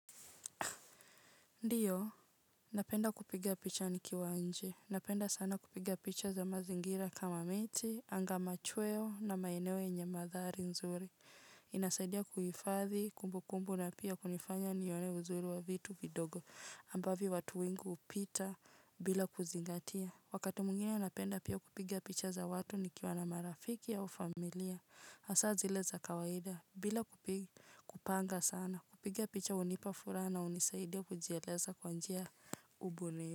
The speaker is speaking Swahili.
Ndiyo, napenda kupiga picha nikiwa nje. Napenda sana kupiga picha za mazingira kama miti, anga machweo na maeneo yenye madhari nzuri. Inasaidia kuifadhi kumbu kumbu na pia kunifanya nione uzuri wa vitu vidogo ambavyo watu wengi upita bila kuzingatia. Wakati mwingine napenda pia kupiga picha za watu nikiwa na marafiki au familia. Asa zile za kawaida bila kupanga sana. Kupiga picha unipa fura na unisaidia kujieleza kwa njia ubunio.